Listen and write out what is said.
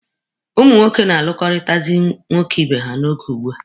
Ụmụ nwoke na-alụkọrịtazị nwoke ibe ha n'oge ugbua.